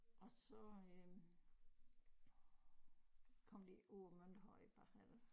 Og så øh kom de ud på Mønterhøj bagefter